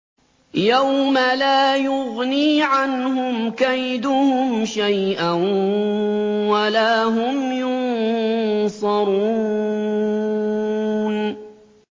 يَوْمَ لَا يُغْنِي عَنْهُمْ كَيْدُهُمْ شَيْئًا وَلَا هُمْ يُنصَرُونَ